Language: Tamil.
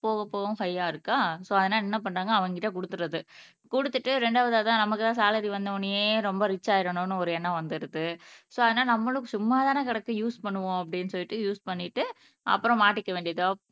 போகப் போகவும் ஹையா இருக்கா சோ அதனால என்ன பண்றாங்க அவன்கிட்ட கொடுத்துடுறது கொடுத்துட்டு இரண்டாவது அதான் நமக்குதான் சலரி வந்தவுடனேயே ரொம்ப ரிச் ஆயிடணும்னு ஒரு எண்ணம் வந்துடுது சோ அதனால நம்மளும் சும்மா தானே கிடக்கு யூஸ் பண்ணுவோம் அப்படின்னு சொல்லிட்டு யூஸ் பண்ணிட்டு அப்புறம் மாட்டிக்க வேண்டியது தான்